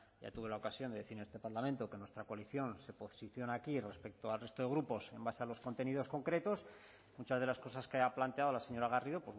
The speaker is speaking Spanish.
ya tuve la ocasión de decir en este parlamento que nuestra coalición se posiciona aquí respecto al resto de grupos en base a los contenidos concretos muchas de las cosas que ha planteado la señora garrido